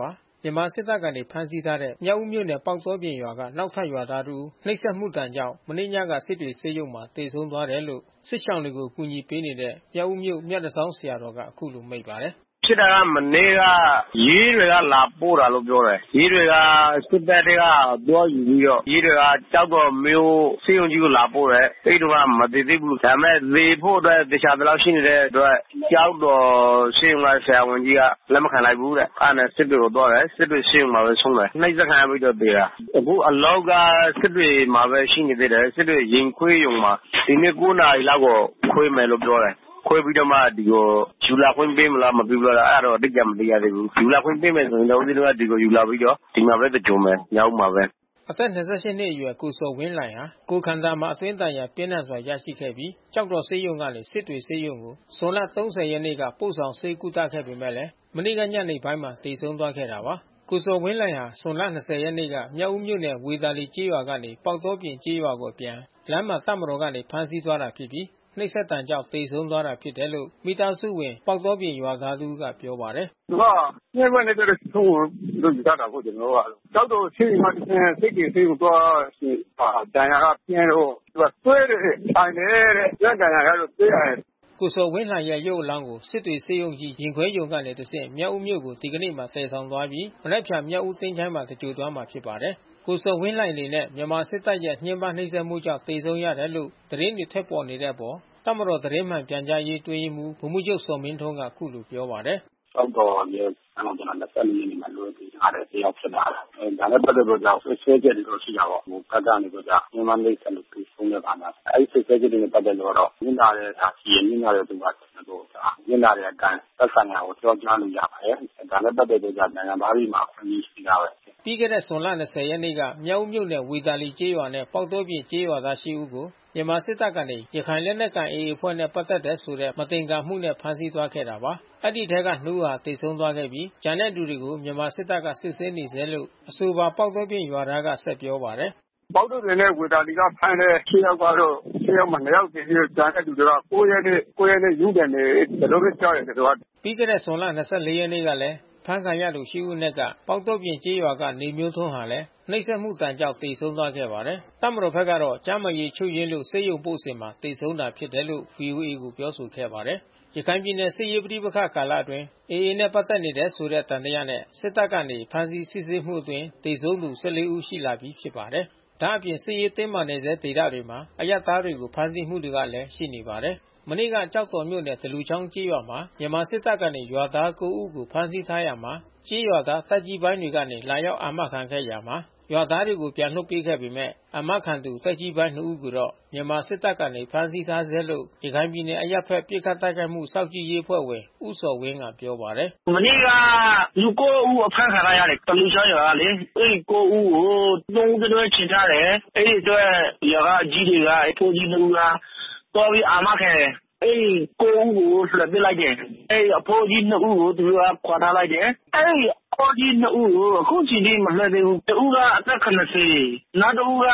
ပါတယ်။ မြန်မာစစ်တပ်ကနေ ဖမ်းဆီးထားတဲ့ မြောက်ဦးမြို့နယ်၊ ပေါက်တောပြင်ရွာက နောက်ထပ်ရွာသားတဦး နှိပ်စက်မှုဒဏ်ကြောင့် မနေ့ညကစစ်တွေ ဆေးရုံမှာ သေဆုံးသွားတယ်လို့ စစ်ရှောင်တွေကို အကူညီပေးနေတဲ့ မြောက်ဦးမြို့ မြတန်ဆောင်း ဆရာတော်က အခုလိုမိန့်ပါတယ်။ “ဖြစ်တာက မနေ့က ရဲတွေကလာပို့တယ်လို့တော့ပြောတယ်။ ရဲတွေက စစ်တပ်ထဲက သွားယူပြီးတော့ ရဲတွေက ကျောက်တော်မြို့ဆေးရုံကြီးကို လာပို့တယ်။ အဲဒီတုန်းက မသေသေးဘူး။ ဒါပေမဲ့ သေဖို့အတွက် သေချာသလောက် ဖြစ်နေတဲ့အတွက် ကျောက်တော်ဆေးရုံက ဆရာဝန်ကြီးက လက်မခံလိုက်ဘူးတဲ့။ အဲတာနဲ့စစ်တွေကိုသွားတယ်။ စစ်တွေဆေးရုံမှာပဲ ဆုံးတယ်။ အနှိပ်စက်ခံရပြီးတော့ သေတာ။ အခုအလောင်းက စစ်တွေမှာပဲ ရှိနေသေးတယ်။ စစ်တွေ ရင်ခွဲရုံမှာ။ ဒီနေ့ ၉ နာရီလောက်ကို ခွဲမယ်လို့တော့ပြောတယ်။ ခွဲပြီးတော့မှ ဒီကို ယူလာခွင့်ပေးမလား မပေးဘူးလား အဲတာတော့ အတိအကျ မသိရသေးဘူး။ ယူလာခွင့်ပေးရင်တော့ ဦးဇင်းတို့က ဒီကိုယူလာပြီးတော့ ဒီမှာပဲ သင်္ဂြိုလ်မယ်။ မြောက်ဦးမှာပဲ။” အသက် ၂၈ နှစ်အရွယ် ကိုဇော်ဝင်းလှိုင်ဟာ ကိုယ်ခန္ဓာမှာအတွင်း ဒဏ်ရာ ပြင်းထန်စွာ ရရှိခဲ့ပြီး ကျောက်တော်ဆေးရုံကနေ စစ်တွေဆေးရုံကို ဇွန်လ ၃ဝ ရက်နေ့က ပို့ဆောင်ဆေးကုသခဲ့ပေမဲ့ မနေ့ကညနေပိုင်းမှာ သေဆုံးသွားခဲ့တာပါ။ ကိုဇော်ဝင်းလှိုင်ဟာ ဇွန်လ ၂၀ ရက်နေ့က မြောက်ဦးမြို့နယ်၊ ဝေသာလီ ကျေးရွာကနေ ပေါက်တောပြင်ကျေးရွာကို အပြန်လမ်းမှာ တပ်မတော်ကနေ ဖမ်းဆီးသွားတာဖြစ်ပြီး နှိပ်စက်ဒဏ်ကြောင့် သေဆုံးတာဖြစ်တယ်လို့ မိသားစုဝင် ပေါက်တောပြင်ရွာသား တဦးကပြောပါတယ်။ “သူက ညှင်းပမ်းနှိပ်စက်လို့ ဆုံးတယ်လို့ ယူဆတယ်ပေါ့ ကျနော်တို့က။ ကျောက်တော်ဆေးရုံကတဆင့် စစ်တွေဆေးရုံကို သွားတဲ့အခါ ဒဏ်ရာကပြင်းလို့ သူကသွေးတွေ အန်တယ်တဲ့။ အတွင်းဒဏ်ရာရလို့ သွေးအန်တယ်။” ကိုဇော်ဝင်းလှိုင်ရဲ့ ရုပ်အလောင်းကို စစ်တွေဆေးရုံကြီး ရင်ခွဲရုံမှတဆင့် မြောက်ဦးမြို့ကို ဒီကနေ့မှာသယ်ဆောင်သွားပြီး မနက်ဖြန် မြောက်ဦးသချုႋင်းမှာ သင်္ဂြိုလ်သွားမှာဖြစ်ပါတယ်။ ကိုဇော်ဝင်းလှိုင်အနေနဲ့ မြန်မာစစ်တပ်ရဲ့ ညှင်းပမ်းနှိပ်စက်မှုကြောင့် သေဆုံးသွားရတယ်လို့ သတင်းတွေထွက်ပေါ်နေတဲ့အပေါ် တပ်မတော် သတင်းမှန်ပြန်ကြားရေး အတွင်းရေးမှူး ဗိုလ်မှူးချုပ်ဇော်မင်းထွန်းက အခုလိုပြောပါတယ်။ “ကျောက်တော်ရဲစခန်းကို ၂၄ ရက်နေ့က ကျနော်တို့လွှဲပေးထားတဲ့ တယောက်ဖြစ်ပါတယ်။ ဒါနဲ့ပတ်သက်လို့တော့ စွပ်စွဲချက်တွေတော့ ရှိတာပေါ့။ ဟိုဘက်ကနေပြီးတော့က ညှင်းပမ်း နှိပ်စက်လို့ သေဆုံးတယ်... ဘာညာအဲဒီ စွပ်စွဲချက်တွေနဲ့ ပတ်သက်လို့ကတော့ နစ်နာတဲ့သူ ရှိတယ်။ နစ်နာတဲ့သူက ကျနော်တို့နစ်နာတဲ့အတိုင်း သက်ဆိုင်ရာကို အကြောင်း ကြားလို့ရပါတယ်။ ဒါနဲ့ပတ်သက်လို့က နိုင်ငံသားတွေမှာ အခွင့်အရေးရှိပြီးသားပဲ။” ပြီးခဲ့တဲ့ ဇွန်လ ၂၀ ရက်နေ့က မြောက်ဦးမြို့နယ်၊ ဝေသာလီကျေးရွာနဲ့ ပေါက်တောပြင် ကျေးရွာသား ရှစ် ဦးကို မြန်မာစစ်တပ်ကနေ ရခိုင်လက်နက်ကိုင် AA အဖွဲ့နဲ့ ပတ်သက်တယ်ဆိုတဲ့ မသင်္ကာမှုနဲ့ ဖမ်းဆီးသွားခဲ့တာပါ။ ဒီအထဲက နှစ်ဦး သေဆုံးသွားခဲ့ပြီး ကျန်တဲ့သူတွေကို မြန်မာစစ်တပ်ကနေ စစ်ဆေးနေဆဲလို့အဆိုပါ ပေါက်တောပြင် ရွာသားက ဆက်ပြောပါတယ်။ “ပေါက်တောပြင်နဲ့ဝေသာလီကဖမ်းတဲ့ ရှစ် ယောက်ကတော့ ရှစ် ယောက်မှာ နှစ် ယောက် သေပြီးတော့ ကျန်တဲ့သူမှာ ၉ ရက်နေ့။ ၉ ရက်နေ့ ရုံးတင်မယ်။ ဒီလိုပဲကြားတယ်ကျနော်က။” ပြီးခဲ့တဲ့ဇွန်လ ၂၄ ရက်နေ့ကလည်း အဖမ်းခံရသူ ရှစ် ဦးအနက်က ပေါက်တောပြင်ကျေးရွာက နေမျိုးထွန်းကလည်း နှိပ်စက်မှုဒဏ်ကြောင့် သေဆုံးသွားခဲ့ပါတယ်။ တပ်မတော်ဘက်ကတော့ ကျန်းမာရေး ချို့ယွင်းလို့ဆေးရုံပို့စဉ်မှာ သေဆုံးတာဖြစ်တယ်လို့ ဗွီအိုအေကို ပြောဆိုခဲ့ပါတယ်။ ရခိုင်ပြည်နယ်စစ်ရေးပဋိပက္ခကာလအတွင်း AA နဲ့ ပတ်သက်နေတယ်ဆိုတဲ့ သံသယနဲ့ စစ်တပ်ကနေ ဖမ်းဆီး စစ်ဆေးမှုအတွင်း သေဆုံးသူ ၁၄ ဦးရှိလာပြီ ဖြစ်ပါတယ်။ ဒါ့အပြင် စစ်ရေးတင်းမာနေဆဲဒေသတွေမှာ အရပ်သားတွေကို ဖမ်းဆီးမှုတွေကလည်းရှိနေပါတယ်။ မနေ့က ကျောက်တော်မြို့နယ် သလူချောင်းကျေးရွာမှာ မြန်မာစစ်တပ်ကနေ ရွာသား ကိုး ဦးကို ဖမ်းဆီးထားရာမှာ ကျေးရွာသားသက်ကြီးပိုင်းတွေကနေ လာရောက် အာမခံခဲ့ရာမှာ ရွာသားတွေကို ပြန်လွှတ်ပေးခဲ့ပေမဲ့ အာမခံသူသက်ကြီးပိုင်း နှစ်ဦးကိုတော့ မြန်မာစစ်တပ်ကနေ ဖမ်းဆီးထားဆဲလို့ ရခိုင်ပြည်နယ် အရပ်ဘက်ပစ်ခတ် တိုက်ခိုက်မှု စောင့်ကြည့်ရေး အဖွဲ့ဝင်ဦးဇော်ဝင်းက ပြောပါတယ်။ “မနေ့ကလူ ကိုး ဦး အဖမ်းခံထားရတယ် သလူချောင်းရွာကလေ။ အဲဒီ ကိုး ဦးကို သုံး ဦး တတွဲ ချည်ထားတယ်။ အဲဒီအတွက် ရွာကအကြီးတွေက အဖိုးကြီး နှစ်ဦးက သွားပြီးအာမခံတယ်။ အဲဒီ ကိုး ဦးကို လွှတ်ပေးလိုက်တယ်။ အဲဒီအဖိုးကြီး နှစ်ဦးကို ခေါ်ထားလိုက်တယ်။ အဲဒီအဖိုးကြီးနှစ်ဦး ကို အခုချိန်ထိ မလွှတ်သေးဘူး။ တဦးကအသက် ၇၀ နောက်တဦးက